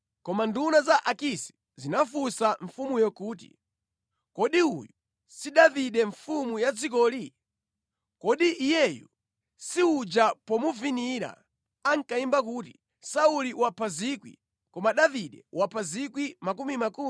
Koma nduna za Akisi zinafunsa mfumuyo kuti, “Kodi uyu si Davide mfumu ya dzikoli? Kodi iyeyu si uja pomuvinira ankayimba kuti, “Sauli wapha 1,000, koma Davide wapha miyandamiyanda?”